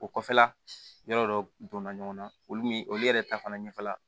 O kɔfɛla yɔrɔ dɔ donna ɲɔgɔn na olu min olu yɛrɛ ta fana ɲɛfɛ la